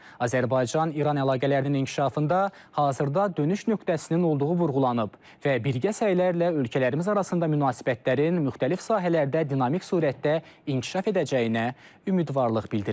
Azərbaycan-İran əlaqələrinin inkişafında hazırda dönüş nöqtəsinin olduğu vurğulanıb və birgə səylərlə ölkələrimiz arasında münasibətlərin müxtəlif sahələrdə dinamik surətdə inkişaf edəcəyinə ümidvarlıq bildirilib.